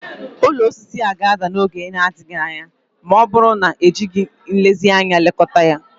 Ụlọ osisi a ga-ada n'oge na-adịghị anya ma ọ bụrụ na ejighị nlezianya lekọta ya